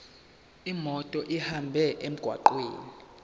imoto ihambe emgwaqweni